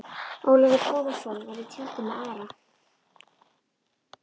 Ólafur Tómasson var í tjaldi með Ara.